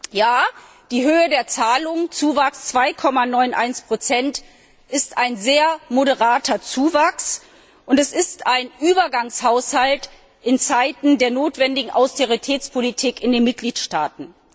Der Zuwachs bei den Zahlungen 2,91 ist ein sehr moderater Zuwachs, und es ist ein Übergangshaushalt in Zeiten der notwendigen Austeritätspolitik in den Mitgliedstaaten.